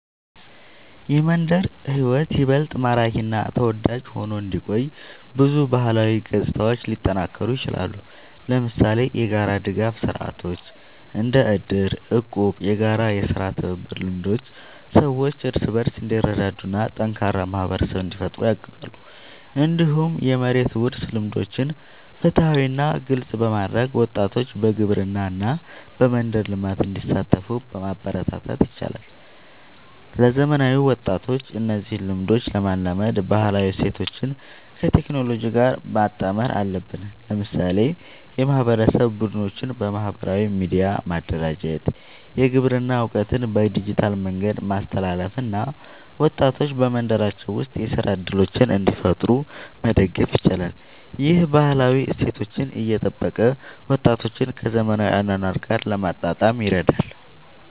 የመንደር ሕይወት ይበልጥ ማራኪ እና ተወዳጅ ሆኖ እንዲቆይ ብዙ ባህላዊ ገጽታዎች ሊጠናከሩ ይችላሉ። ለምሳሌ የጋራ ድጋፍ ስርዓቶች እንደ እድር፣ እቁብ እና የጋራ የሥራ ትብብር ልምዶች ሰዎች እርስ በርስ እንዲረዳዱ እና ጠንካራ ማህበረሰብ እንዲፈጠር ያግዛሉ። እንዲሁም የመሬት ውርስ ልምዶችን ፍትሃዊ እና ግልጽ በማድረግ ወጣቶች በግብርና እና በመንደር ልማት እንዲሳተፉ ማበረታታት ይቻላል። ለዘመናዊ ወጣቶች እነዚህን ልምዶች ለማላመድ ባህላዊ እሴቶችን ከቴክኖሎጂ ጋር ማጣመር አለብን። ለምሳሌ የማህበረሰብ ቡድኖችን በማህበራዊ ሚዲያ ማደራጀት፣ የግብርና እውቀትን በዲጂታል መንገድ ማስተላለፍ እና ወጣቶች በመንደራቸው ውስጥ የሥራ እድሎችን እንዲፈጥሩ መደገፍ ይቻላል። ይህ ባህላዊ እሴቶችን እየጠበቀ ወጣቶችን ከዘመናዊ አኗኗር ጋር ለማጣጣም ይረዳል።